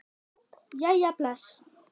Jæja bless